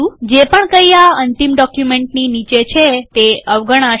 જે પણ કઈ આ અંતિમ ડોક્યુમેન્ટની નીચે છે તે અવગણાશે